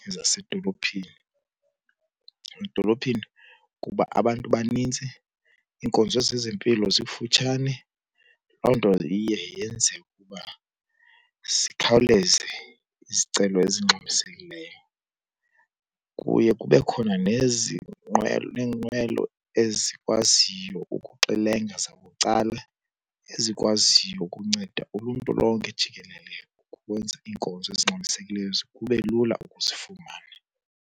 nezasedolophini. Edolophini kuba abantu banintsi iinkonzo zezempilo zikufutshane, loo nto iye yenze ukuba zikhawuleze izicelo ezingxamisekileyo. Kuye kube khona neenqwelo ezikwaziyo ukuxelenga zabucala ezikwaziyo ukunceda uluntu lonke jikelele ukwenza iinkonzo ezingxamisekileyo kube lula ukuzifumana.